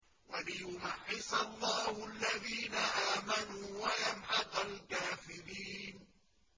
وَلِيُمَحِّصَ اللَّهُ الَّذِينَ آمَنُوا وَيَمْحَقَ الْكَافِرِينَ